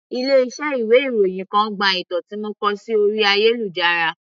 Ilé iṣẹ́ ìwé ìròyìn kan gba ìtàn tí mo kọ sí orí ayélujára.